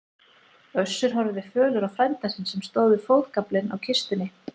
Össur horfði fölur á frænda sinn sem stóð við fótagaflinn á kistunni.